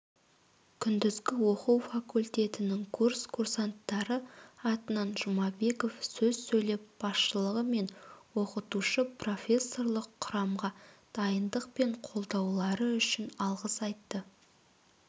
күндізгі оқу факультетінің курс курсанттары атынан жұмабеков сөз сөйлеп басшылығы мен оқытушы-профессорлық құрамға дайындық пен қолдаулары үшін алғыс айтты